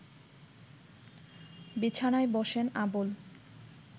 বিছানায় বসেন আবুল